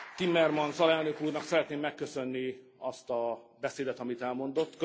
Timmermans alelnök úrnak szeretném megköszönni azt a beszédet, amit elmondott.